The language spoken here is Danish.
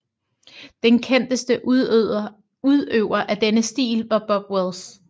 Den kendteste udøver af denne stil var Bob Wills